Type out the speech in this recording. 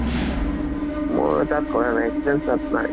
মই তাত কৰা নাই। experience তাত নাই।